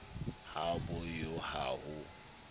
ha bo yo ha ho